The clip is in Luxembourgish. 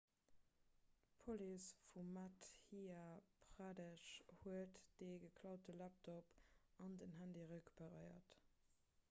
d'police vu madhya pradesh huet dee geklaute laptop an den handy recuperéiert